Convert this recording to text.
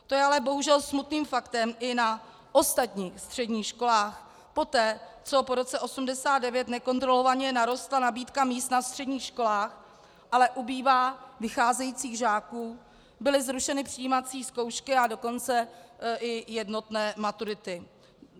To je ale bohužel smutným faktem i na ostatních středních školách poté, co po roce 1989 nekontrolovaně narostla nabídka míst na středních školách, ale ubývá vycházejících žáků, byly zrušeny přijímací zkoušky, a dokonce i jednotné maturity.